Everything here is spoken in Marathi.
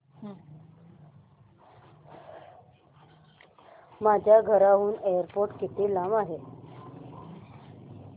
माझ्या घराहून एअरपोर्ट किती लांब आहे